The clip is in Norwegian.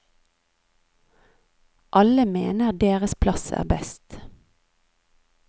Alle mener deres plass er best.